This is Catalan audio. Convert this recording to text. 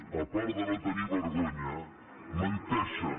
a part de no tenir vergonya menteixen